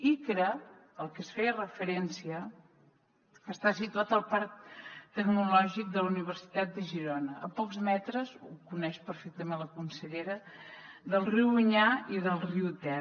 icra al que es feia referència està situat al parc tecnològic de la universitat de girona a pocs metres ho coneix perfectament la consellera del riu onyar i del riu ter